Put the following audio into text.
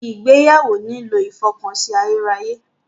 Ìgbéyàwó nílò ìfọkànsìn ayérayé.